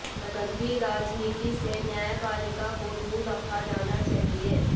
गंदी राजनीति से न्यायपालिका को दूर रखा जाना चाहिए